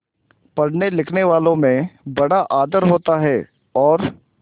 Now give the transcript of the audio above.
पढ़नेलिखनेवालों में बड़ा आदर होता है और